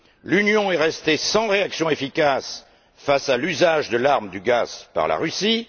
L'Union est restée sans réaction efficace face à l'usage de l'arme du gaz par la Russie.